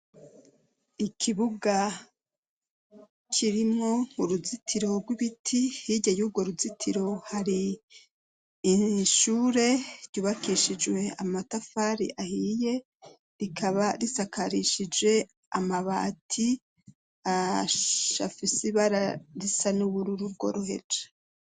Ikibuga kirimo uruzitiro rw'ibiti hirya yurwo ruzitiro hari ishure ryubakishijwe amatafari ahiye rikaba risakarishije amabati afise ibara risa n'ubururu rwo roheje.